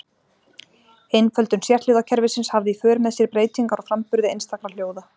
Einföldun sérhljóðakerfisins hafði í för með sér breytingar á framburði einstakra hljóða.